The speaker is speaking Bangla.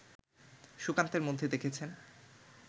সুকান্তের মধ্যে দেখেছেন